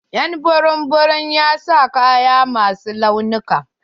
Y'an burum burum ya sa kaya ma su launuka.